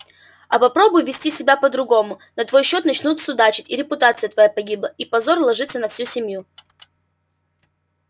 а попробуй вести себя по-другому на твой счёт начнут судачить и репутация твоя погибла и позор ложится на всю семью